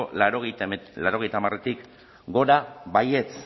laurogeita hamaretik gora baietz